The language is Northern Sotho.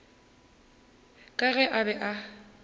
ka ge a be a